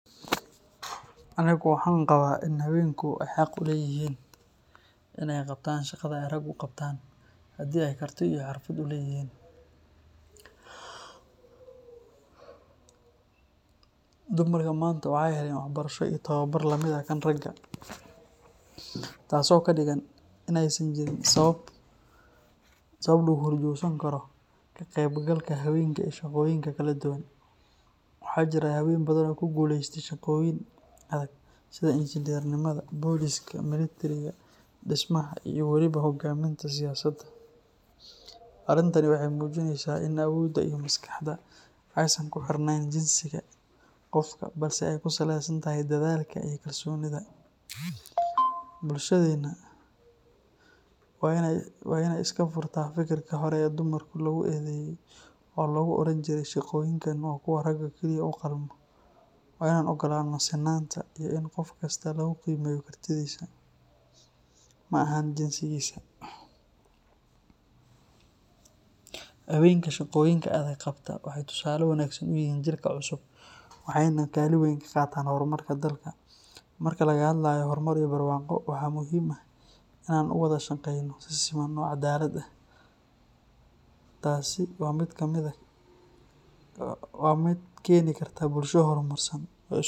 Anigu waxaan qabaa in haweenku ay xaq u leeyihiin inay qabtaan shaqada ay raggu qabtaan haddii ay karti iyo xirfad u leeyihiin. Dumarka maanta waxay heleen waxbarasho iyo tababar la mid ah kan ragga, taasoo ka dhigan in aysan jirin sabab lagu horjoogsan karo ka qeybgalka haweenka ee shaqooyinka kala duwan. Waxaa jira haween badan oo ku guuleystay shaqooyin adag sida injineernimada, booliska, militariga, dhismaha, iyo weliba hogaaminta siyaasadda. Arrintani waxay muujinaysaa in awoodda iyo maskaxda aysan ku xirnayn jinsiga qofka balse ay ku saleysan tahay dadaalka iyo kalsoonida. Bulshadeenna waa inay iska furtaa fikirka hore ee dumarka lagu eedayay, oo lagu oran jiray shaqooyinkan waa kuwa raggu kaliya u qalmo. Waa inaan ogolaano sinnaanta iyo in qof kasta lagu qiimeeyo kartidiisa, ma ahan jinsigiisa. Haweenka shaqooyinka adag qabta waxay tusaale wanaagsan u yihiin jiilka cusub waxayna kaalin weyn ka qaataan horumarka dalka. Marka laga hadlayo horumar iyo barwaaqo, waxaa muhiim ah in aan u wada shaqeyno si siman oo caddaalad ah. Taasi waa midda keeni karta bulsho horumarsan oo isu.